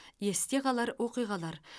есте қалар оқиғалар